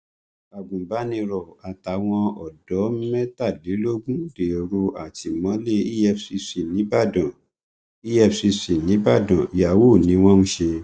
agunbàníró àtàwọn ọdọ mẹtàlélógún dèrò àtìmọlé efcc nìbàdàn efcc nìbàdàn yahoo ni wọn ń ṣe